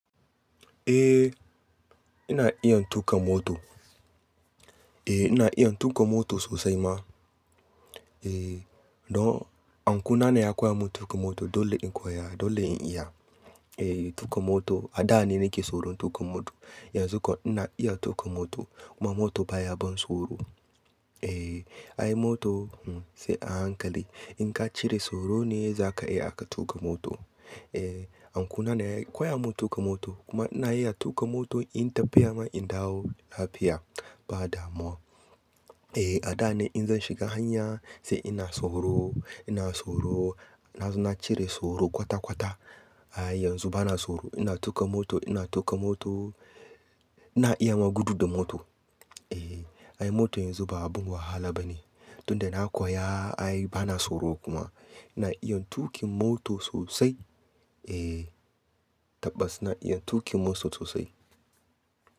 Eh ina iya tuƙa mota. Eh ina iya tuƙa moto sosai ma. Eh dan uncle na ne ya koya mun tuƙa moto. Dole in koya, dole in iya. Eh tuƙa moto a da ne nake tsoron tuƙa moto. Yanzu kuma ina iya tuƙa moto. Kuma moto baya ban tsoro. Eh ai moto sai a hankali. In ka cire tsoro ne zaka iya aka tuƙa moto. Eh uncle na ne ya koya mun tuƙa moto. Kuma ina iya tuƙa moto inyi tafiya ma in dawo lafiya ba damuwa. Eh a da ne in zan shiga hanya sai ina tsoro, ina tsoro. Na cire tsoro kwata-kwata. Ai yanzu bana tsoro ina tuƙa moto, ina tuƙa moto. Ina iya ma gudu da moto. Eh ai moto yanzu ba abun wahala ba ne. Tun da na koya ai bana tsoro kuma. Ina iya tuƙin moto sosai. Eh tabbas ina iya tuƙin moto sosai.